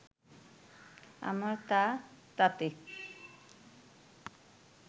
আমার তা তাতে